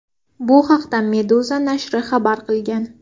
Bu haqda Meduza nashri xabar qilgan .